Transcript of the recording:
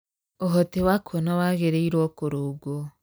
Ũhoti wa kuona wagĩrĩirũo kũrũngwo.